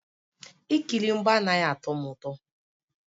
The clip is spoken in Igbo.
Ikiri mgba anaghị atọ m ụtọ